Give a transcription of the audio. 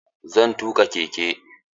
Zan tuƙa keke.